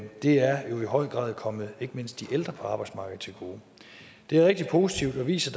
det er jo i høj grad kommet ikke mindst de ældre på arbejdsmarkedet til gode det er rigtig positivt og viser